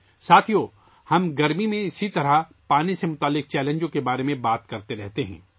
دوستو، ہم ہر موسم گرما میں پانی سے متعلق چیلنجوں کے بارے میں بات کرتے رہتے ہیں